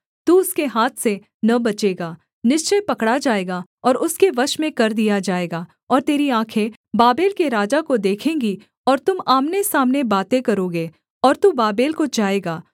तू उसके हाथ से न बचेगा निश्चय पकड़ा जाएगा और उसके वश में कर दिया जाएगा और तेरी आँखें बाबेल के राजा को देखेंगी और तुम आमनेसामने बातें करोगे और तू बाबेल को जाएगा